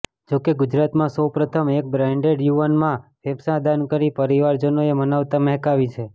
જો કે ગુજરાતમા સૌ પ્રથમવાર એક બ્રેનડેડ યુવાનના ફેંફસા દાન કરી પરિવારજનોએ માનવતા મહેકાવી છે